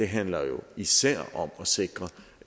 handler jo især om at sikre